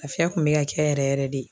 Lafiya kun bɛ ka kɛ yɛrɛ yɛrɛ de.